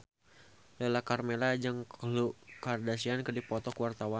Lala Karmela jeung Khloe Kardashian keur dipoto ku wartawan